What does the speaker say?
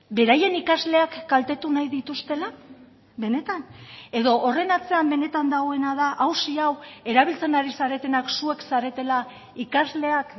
beraien ikasleak kaltetu nahi dituztela benetan edo horren atzean benetan dagoena da auzi hau erabiltzen ari zaretenak zuek zaretela ikasleak